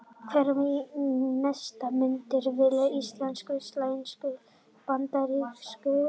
Hver er mesti munurinn á milli íslensku-, sænsku- og bandarísku deildanna?